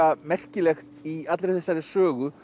merkilegt í allri þessari sögu